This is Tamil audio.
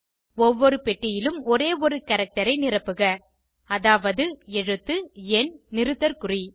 ஒவ்வொரு பெட்டியிலும் ஒரே ஒரு கேரக்டர் ஐ நிரப்புக அதாவது எழுத்து எண் நிறுத்தற்குறி